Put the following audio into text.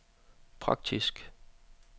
praktisk